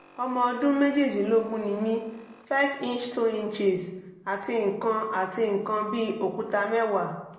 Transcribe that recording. ọmọ ọdún méjìdínlógún ni mí five inch two inches àti nǹkan àti nǹkan bí òkúta mẹ́wàá